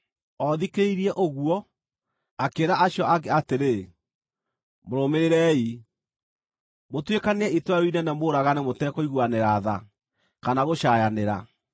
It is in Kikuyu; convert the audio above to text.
O thikĩrĩirie ũguo, akĩĩra acio angĩ atĩrĩ, “Mũrũmĩrĩrei, mũtuĩkanĩrie itũũra rĩu inene mũũragane mũtekũiguanĩra tha kana gũcaayanĩra.